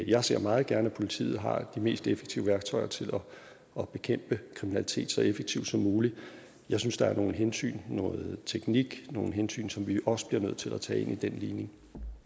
jeg ser meget gerne at politiet har de mest effektive værktøjer til at bekæmpe kriminalitet så effektivt som muligt jeg synes der er nogle hensyn noget teknik nogle hensyn som vi også bliver nødt til at tage ind i den ligning